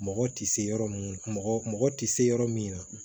Mɔgɔ tɛ se yɔrɔ min mɔgɔ mɔgɔ tɛ se yɔrɔ min na